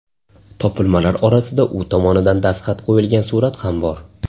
Topilmalar orasida u tomonidan dastxat qo‘yilgan surat ham bor.